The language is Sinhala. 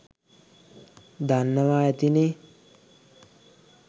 දන්නවා ඇතිනේ